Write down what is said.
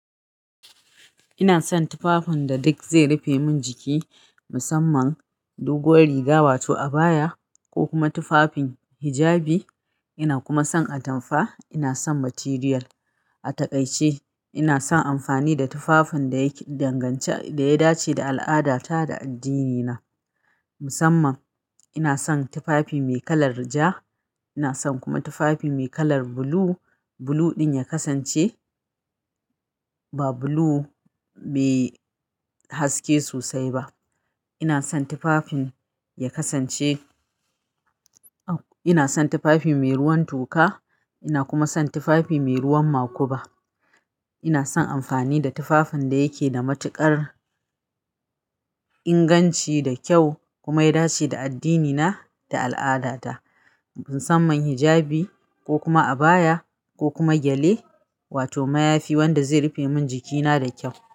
Ina son tufafin da duk zai rufe min jiki, musamman doguwar riga wato abaya ko kuma tufafin hijabi. Ina kuma son atamfa. Ina son material. A takaice ina son amfani da tufafin da yake da inganci da ya dace da al'adata da addinina. Musamman ina son tufafi mai kalar ja. Ina son kuma tufafi mai kalar blue. Blue ɗin ya kasance ba blue mai haske sosai ba. Ina son tufafin ya kasance-- ina son tufafi mai ruwan toka. Ina kuma son tufafi mai ruwan makuba. Ina son amfani da tufafin da yake da matuƙar inganci da kyau kuma ya dace da addinina da al'adata. Musamman hijabi ko kuma abaya ko kuma gyale wato mayafi wanda zai rufe min jikina da kyau.